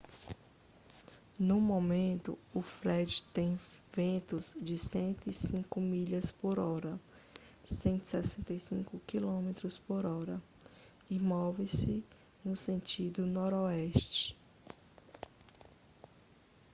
no momento o fred tem ventos de 105 milhas por hora 165 km por hora e move-se no sentido noroeste